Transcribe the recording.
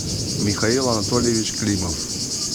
михаил анатольевич климов